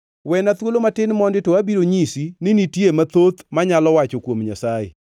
“Wena thuolo matin mondi to abiro nyisi ni nitie mathoth manyalo wacho kuom Nyasaye.